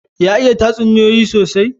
Ya iya tatsuniyoyi sosai?